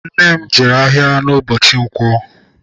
Nne m jere ahịa ụbọchị nkwo.